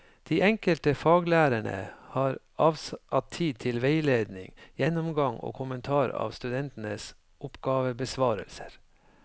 De enkelte faglærerne har avsatt tid til veiledning, gjennomgang og kommentar av studentenes oppgavebesvarelser.